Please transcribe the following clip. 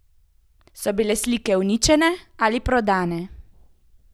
So bile slike uničene ali prodane?